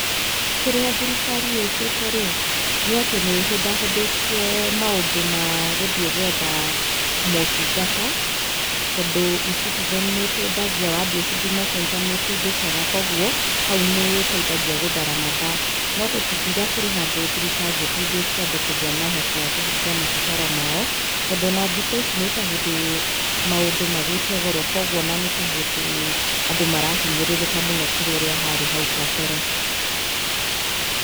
Kĩrĩa thirikari ĩkĩte rĩ, nĩ atĩ nĩ ĩhũthahũthĩtie maũndũ magũthiĩ gwetha maũtungata, tondũ eCitizen nĩ ĩteithagia wathiĩ Huduma Center nĩ ũteithĩkaga kwoguo, hau nĩ ĩteithagia gũthara mathaa. No tũtingiuga kũrĩ handũ thirikari ĩteithĩtie andũ kũgĩa na ũhoti wa kũhingia mabataro mao. Tondũ o na thikũ ici nĩ ta hĩndĩ mũandũ magĩte goro kwoguo o na nĩ ta hĩndĩ andũ marahinyĩrĩrĩka mũno kũrĩ ũrĩa harĩ hau kabere.